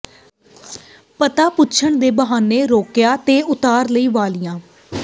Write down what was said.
ਪਤਾ ਪੁੱਛਣ ਦੇ ਬਹਾਨੇ ਰੋਕਿਆ ਤੇ ਉਤਾਰ ਲਈਆਂ ਵਾਲ਼ੀਆਂ